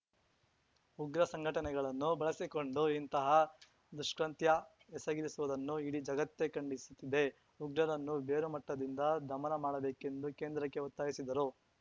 ಉಗ್ರ ಸಂಘಟನೆಗಳನ್ನು ಬಳಸಿಕೊಂಡು ಇಂತಹ ದುಷ್ಕೃತ್ಯ ಎಸಗಿರುವುದನ್ನು ಇಡೀ ಜಗತ್ತೇ ಖಂಡಿಸುತ್ತಿದೆ ಉಗ್ರರನ್ನು ಬೇರುಮಟ್ಟದಿಂದ ದಮನ ಮಾಡಬೇಕೆಂದು ಕೇಂದ್ರಕ್ಕೆ ಒತ್ತಾಯಿಸಿದರು